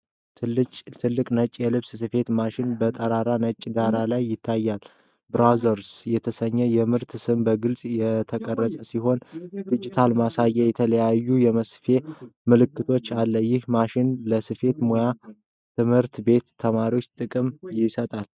ትልቅ ነጭ የልብስ ስፌት ማሽን በጠራራ ነጭ ዳራ ላይ ይታያል። 'brother' የተሰኘው የምርት ስም በግልጽ የተቀረጸ ሲሆን፣ ዲጂታል ማሳያና የተለያዩ የመስፌት ምልክቶች አሉ። ይህ ማሽን ለስፌት ሙያ ትምህርት ቤት ተማሪዎች ጥቅም ይሰጣል?